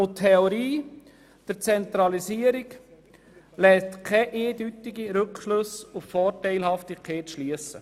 Die Theorie der Zentralisierung lässt keine eindeutigen Rückschlüsse auf die Vorteilhaftigkeit zu.